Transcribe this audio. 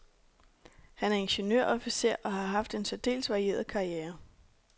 Han er ingeniørofficer og har haft en særdeles varieret karriere.